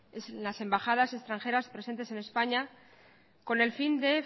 en las embajadas extranjeras presentes en españa con el fin de